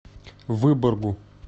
выборгу